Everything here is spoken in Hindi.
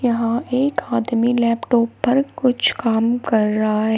और एक आदमी लैपटॉप पर कुछ काम कर रहा है।